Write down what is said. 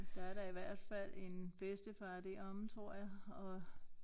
Der er da i hvert fald en bedstefar deromme tror jeg og